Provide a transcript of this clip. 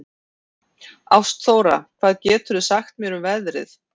Ástþóra, hvað geturðu sagt mér um veðrið?